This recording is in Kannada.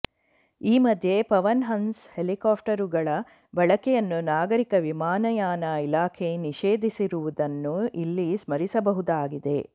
ಈ ಮಧ್ಯೆ ಪವನ್ ಹಂಸ್ ಹೆಲಿಕಾಪ್ಟರುಗಳ ಬಳಕೆಯನ್ನು ನಾಗರಿಕ ವಿಮಾನಯಾನ ಇಲಾಖೆ ನಿಷೇಧಿಸಿರುವುದನ್ನು ಇಲ್ಲಿ ಸ್ಮರಿಸಬಹುದಾಗಿದೆ